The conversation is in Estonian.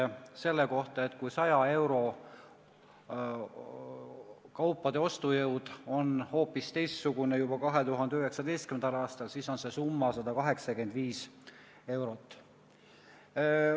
Kui võrrelda omaaegset 100 euro ostujõudu tänasega, siis 2019. aastal on sama suur ostujõud 185 eurol.